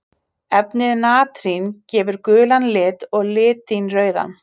Efnið natrín gefur gulan lit og litín rauðan.